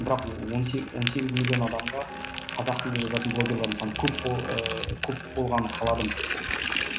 бірақ он сегіз он сегіз миллион адамға қазақ тілінде жазатын блогерлардың саны көп бол ы көп болғанын қаладым